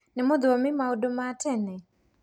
Nĩũthomire maũndũ ma tene?